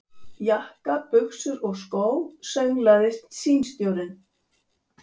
Jakka, buxur og skó, sönglaði símstjórinn.